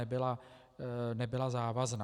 EIA nebyla závazná.